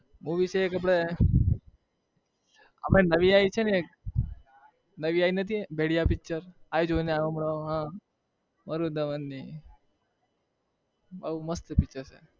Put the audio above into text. movie છે એક આપણે આપણે નવી આવી છે ને એક નવી આવી નથી भेड़ियाpicture આ પણ જોઈને આવ્યો હમણાં હા વરુણ ધવનની બહુ મસ્ત picture છે.